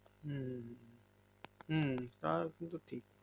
হুম হুম হুম তও কিন্তু ঠিক